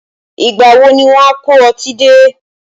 Ìgbà wo ni wọn a kó ọtí dé?